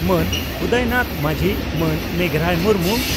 ᱢᱟᱹᱱ ᱩᱫᱚᱭᱱᱟᱛᱷ ᱢᱟᱹᱡᱷᱤ ᱢᱟᱹᱱ ᱢᱮᱜᱷᱨᱟᱭ ᱢᱩᱨᱢᱩ